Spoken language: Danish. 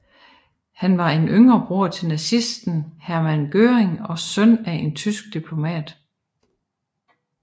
Han var en yngre bror til nazisten Hermann Göring og søn af en tysk diplomat